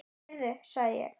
Heyrðu sagði ég.